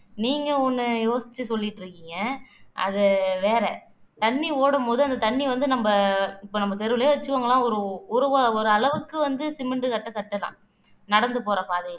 நீங்க ஒண்ணு யோசிச்சு சொல்லிட்டு இருக்கீங்க அது வேற தண்ணி ஓடும்போது அந்த தண்ணி வந்து நம்ம இப்ப நம்ம தெருவுலயே வச்சுக்கோங்களேன் ஒரு ஒரு அளவுக்கு வந்து சிமெண்ட் கட்ட கட்டலாம் நடந்து போற பாதையில